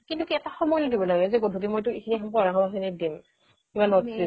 কিন্তু সময়ো দিব লাগে যে গধুলি সময় এইখিনি তোৰ পঢ়া শুনাত দিম